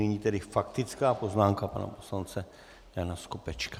Nyní tedy faktická poznámka pana poslance Jana Skopečka.